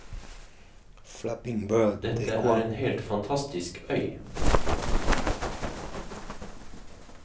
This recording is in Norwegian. Dette er en helt fantastisk øy.